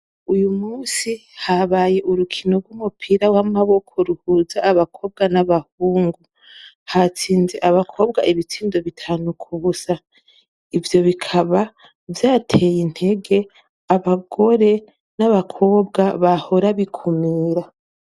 Uyu munsi habaye urukino rwumupira wamaboko ruhuza abakobwa n'abahungu, hatsinze abakobwa ibitsindo bitanu kubusa, ivyo bikaba vyateye intege abagore n'abakobwa bahora bikumira.